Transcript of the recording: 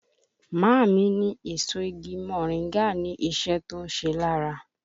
Màámi ní èso igi moringa ní iṣẹ́ tó ń ṣe lára